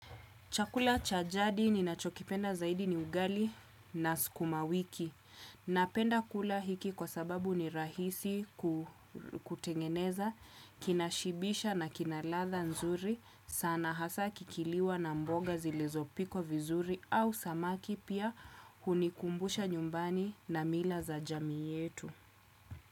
Chakula cha jadi ninachokipenda zaidi ni ugali na sukumawiki. Napenda kula hiki kwa sababu ni rahisi kutengeneza, kinashibisha na kina ladhaa nzuri. Sana hasa kikiliwa na mboga zilizopikwa vizuri au samaki pia hunikumbusha nyumbani na mila za jamii yetu.